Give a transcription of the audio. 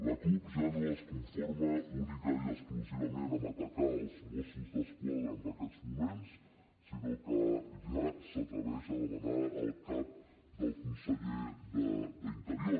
la cup ja no es conforma únicament i exclusivament a atacar els mossos d’esquadra en aquests moments sinó que ja s’atreveix a demanar el cap del conseller d’interior